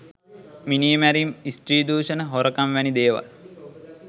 මිනීමැරීම් ස්ත්‍රී දුෂණ හොරකම් වැනි දේවල්.